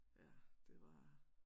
Ja det var